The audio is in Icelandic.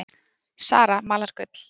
Zara malar gull